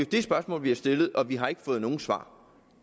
det spørgsmål vi har stillet men vi har ikke fået noget svar